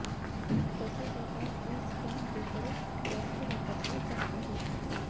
तसेच आता e stamp paper जास्त वापरले जात आहेत